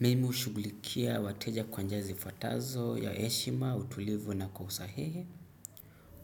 Mimu hushughulikia wateja kwa njia zifuatazo ya heshima, utulivu na kwa usahihi.